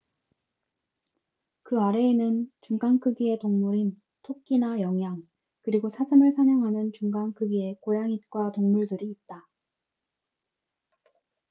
그 아래에는 중간 크기의 동물인 토끼나 영양 그리고 사슴을 사냥하는 중간 크기의 고양잇과 동물들이 있다